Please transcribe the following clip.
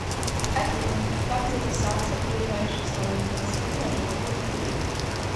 афина как записаться в ближайший салон красоты на женскую стрижку